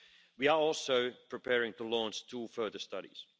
We are also preparing to launch two further studies.